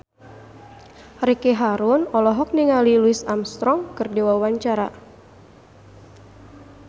Ricky Harun olohok ningali Louis Armstrong keur diwawancara